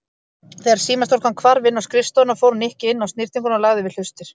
Þegar símastúlkan hvarf inn á skrifstofuna fór Nikki inn á snyrtinguna og lagði við hlustir.